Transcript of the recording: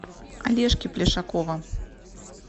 олежки плешакова